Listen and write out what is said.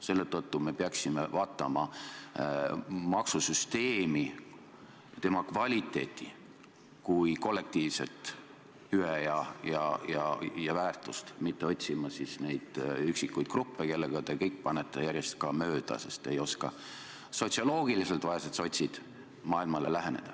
Selle tõttu me peaksime vaatama maksusüsteemi, tema kvaliteeti kui kollektiivset hüvet ja väärtust, mitte otsima neid üksikuid gruppe, kellega te panete järjest mööda, sest te ei oska sotsioloogiliselt, vaesed sotsid, maailmale läheneda.